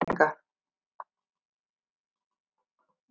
Hlýjasta sumar í sögu mælinga